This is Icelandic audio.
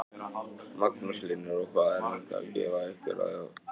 Magnús Hlynur: Og hvað er þetta að gefa ykkur að vera í þessu?